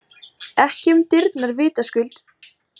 Ekki um dyrnar vitaskuld.